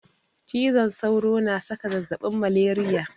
Cizon sauro na saka zazzabin maleriya.